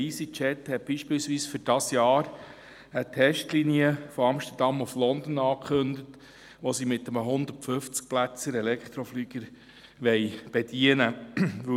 Easy Jet hat beispielsweise für dieses Jahr eine Testlinie von Amsterdam nach London angekündigt, die sie mit einem 150-plätzigen Elektroflieger bedienen wollen.